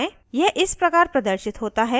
यह इस प्रकार प्रदर्शित होता है enter the numbers